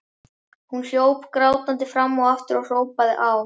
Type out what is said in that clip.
Hún hljóp grátandi fram og aftur og hrópaði á